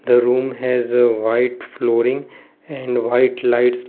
the room has a white flooring and white lights.